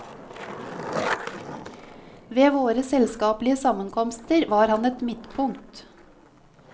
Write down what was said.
Ved våre selskapelige sammenkomster var han et midtpunkt.